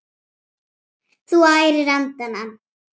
Þú ærir andana!